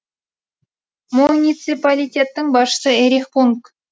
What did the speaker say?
муниципалитеттің басшысы эрих пунг